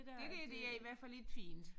¨Det der det er i hvert fald ikke fint